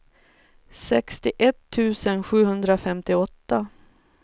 sextioett tusen sjuhundrafemtioåtta